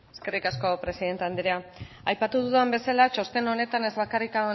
eskerrik asko presidente andrea aipatu dudan bezala txosten honetan ez bakarrik